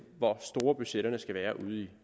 hvor store budgetterne skal være ude i